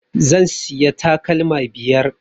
Zan siya takalma biyar